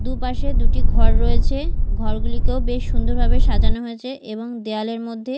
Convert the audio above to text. দুপাশে দুটি ঘর রয়েছে ঘরগুলিকেও বেশ সুন্দর ভাবে সাজানো হয়েছে এবং দেওয়ালের মধ্যে--